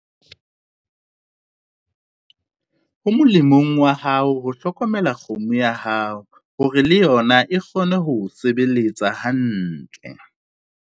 Ho molemong wa hao ho hlokomela kgomo ya hao hore le yona e kgone ho o sebeletsa hantle.